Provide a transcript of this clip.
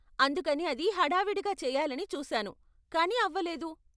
అందుకని అది హడావిడిగా చేయాలని చూసాను, కానీ అవ్వలేదు.